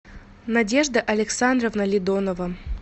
надежда александровна ледонова